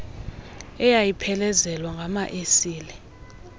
eyayiphelezelwa ngama esile